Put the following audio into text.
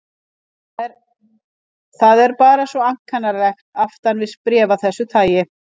Það er bara svo ankannalegt aftan við bréf af þessu tagi.